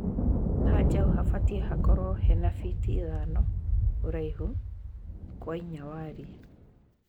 Hanjaũ habatie hakorwo heha fiti ithano ũraihu kwa iinya warie.